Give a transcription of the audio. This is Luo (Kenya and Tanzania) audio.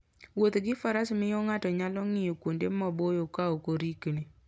Wuotho gi faras miyo ng'ato nyalo ng'iyo kuonde maboyo ka ok orikni.